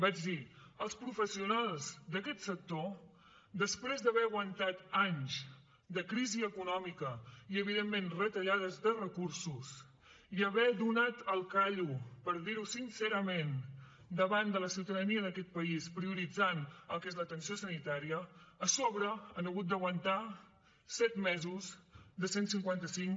vaig dir els professionals d’aquest sector després d’haver aguantat anys de crisi econòmica i evidentment retallades de recursos i haver donat el callo per dir ho sincerament davant de la ciutadania d’aquest país prioritzant el que és l’atenció sanitària a sobre han hagut d’aguantar set mesos de cent i cinquanta cinc